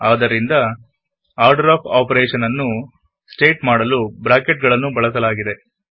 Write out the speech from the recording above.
ಆದ್ದರಿಂದ order of operation ನ್ನು state ಮಾಡಲು ಬ್ರಾಕೆಟ್ ಗಳನ್ನು ಬಳಸಲಾಗಿದೆ